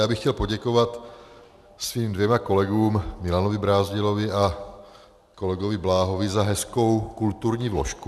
Já bych chtěl poděkovat svým dvěma kolegům, Milanu Brázdilovi a kolegovi Bláhovi, za hezkou kulturní vložku.